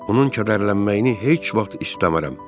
Onun kədərlənməyini heç vaxt istəmərəm.